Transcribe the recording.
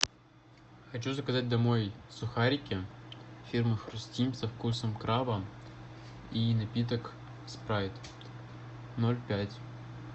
хочу заказать домой сухарики фирмы хрустим со вкусом краба и напиток спрайт ноль пять